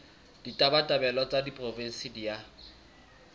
ditabatabelo tsa diporofensi di a